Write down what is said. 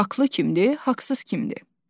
Haqqlı kimdir, haqsız kimdir?